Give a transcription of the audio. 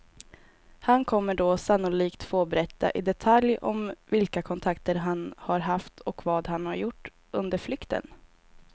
Han kommer då sannolikt få berätta i detalj om vilka kontakter han har haft och vad han har gjort under flykten.